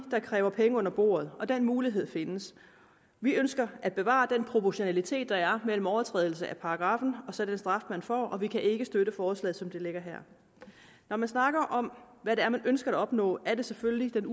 der kræver penge under bordet og den mulighed findes vi ønsker at bevare den proportionalitet der er mellem overtrædelse af paragraffen og så den straf man får og vi kan ikke støtte forslaget som det ligger her når man snakker om hvad det er man ønsker at opnå er det selvfølgelig